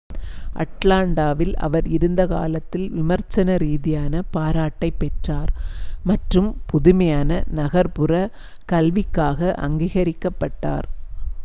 அட்லாண்டாவில் அவர் இருந்த காலத்தில் விமர்சன ரீதியான பாராட்டைப் பெற்றார் மற்றும் புதுமையான நகர்ப்புற கல்விக்காக அங்கீகரிக்கப்பட்டார்